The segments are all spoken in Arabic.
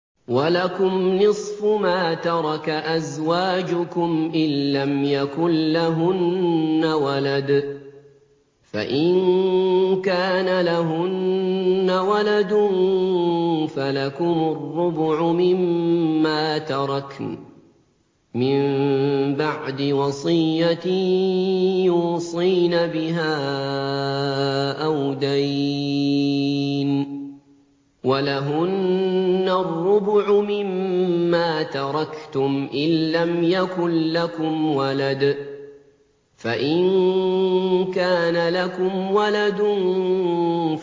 ۞ وَلَكُمْ نِصْفُ مَا تَرَكَ أَزْوَاجُكُمْ إِن لَّمْ يَكُن لَّهُنَّ وَلَدٌ ۚ فَإِن كَانَ لَهُنَّ وَلَدٌ فَلَكُمُ الرُّبُعُ مِمَّا تَرَكْنَ ۚ مِن بَعْدِ وَصِيَّةٍ يُوصِينَ بِهَا أَوْ دَيْنٍ ۚ وَلَهُنَّ الرُّبُعُ مِمَّا تَرَكْتُمْ إِن لَّمْ يَكُن لَّكُمْ وَلَدٌ ۚ فَإِن كَانَ لَكُمْ وَلَدٌ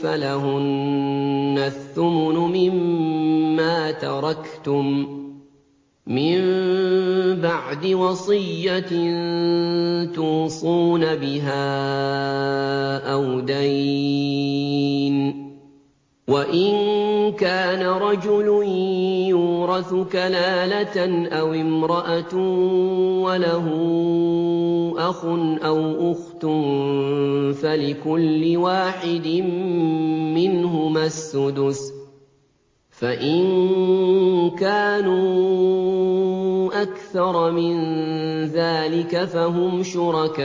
فَلَهُنَّ الثُّمُنُ مِمَّا تَرَكْتُم ۚ مِّن بَعْدِ وَصِيَّةٍ تُوصُونَ بِهَا أَوْ دَيْنٍ ۗ وَإِن كَانَ رَجُلٌ يُورَثُ كَلَالَةً أَوِ امْرَأَةٌ وَلَهُ أَخٌ أَوْ أُخْتٌ فَلِكُلِّ وَاحِدٍ مِّنْهُمَا السُّدُسُ ۚ فَإِن كَانُوا أَكْثَرَ مِن ذَٰلِكَ فَهُمْ شُرَكَاءُ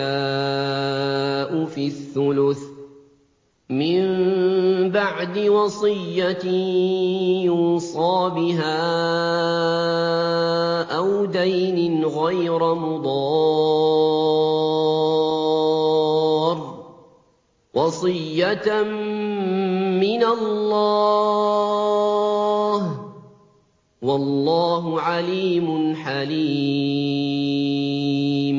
فِي الثُّلُثِ ۚ مِن بَعْدِ وَصِيَّةٍ يُوصَىٰ بِهَا أَوْ دَيْنٍ غَيْرَ مُضَارٍّ ۚ وَصِيَّةً مِّنَ اللَّهِ ۗ وَاللَّهُ عَلِيمٌ حَلِيمٌ